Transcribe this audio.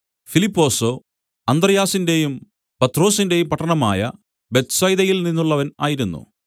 ഫിലിപ്പൊസോ അന്ത്രെയാസിന്റെയും പത്രൊസിന്റെയും പട്ടണമായ ബേത്ത്സയിദയിൽ നിന്നുള്ളവൻ ആയിരുന്നു